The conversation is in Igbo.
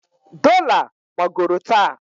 Dola gbagoro taa.